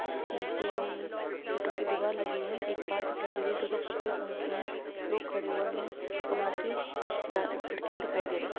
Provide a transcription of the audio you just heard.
नीचे ईंटो की दिवार लगी है एक कार दिखाई दे रही हैं जो की सफेद रंग की है लोग खड़े हुए हैं कमरों के जा-खिड़किया दिखाई दे रही हैं।